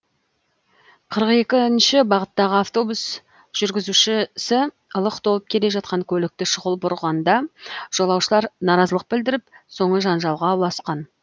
қырық екінші бағыттағы автобус жүргізушісі лық толып келе жатқан көлікті шұғыл бұрғанда жолаушылар наразылық білдіріп соңы жанжалға ұласқан